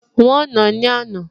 Wọ́n nàá ní àná